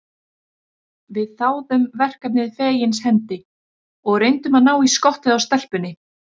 Við þáðum verkefnið fegins hendi og reyndum að ná í skottið á stelpunni.